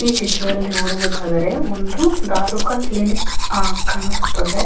ಈ ಚಿತ್ರದಲ್ಲಿ ನೋಡುವುದಾದರೆ ಒಂದು ದಾರುಕ ಕ್ಲಿನಿಕ್ ಆಹ್ಹ್ ಕಾಣಿಸುತ್ತದೆ .